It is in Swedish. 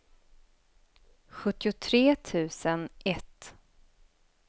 sjuttiotre tusen ett